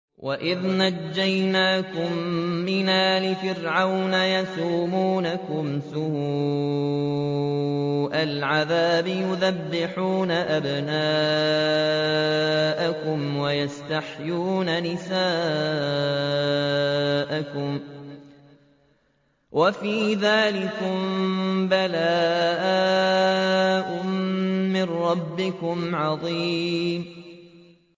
وَإِذْ نَجَّيْنَاكُم مِّنْ آلِ فِرْعَوْنَ يَسُومُونَكُمْ سُوءَ الْعَذَابِ يُذَبِّحُونَ أَبْنَاءَكُمْ وَيَسْتَحْيُونَ نِسَاءَكُمْ ۚ وَفِي ذَٰلِكُم بَلَاءٌ مِّن رَّبِّكُمْ عَظِيمٌ